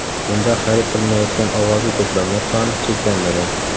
Bunda xarid qilinayotgan ovozli to‘plamlar soni cheklanmagan.